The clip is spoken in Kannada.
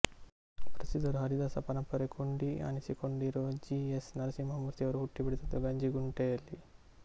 ಪ್ರಸಿದ್ಧರು ಹರಿದಾಸ ಪರಂಪರೆ ಕೊಂಡಿ ಅನಿಸಿಕೊಂಡಿರೋ ಜಿ ಎಸ್ ನರಸಿಂಹಮೂರ್ತಿ ಅವರು ಹುಟ್ಟಿ ಬೆಳೆದದ್ದು ಗಂಜಿಗುಂಟೆಯಲ್ಲಿ